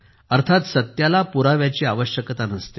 अर्थात सत्याला पुराव्याची आवश्यकता नसते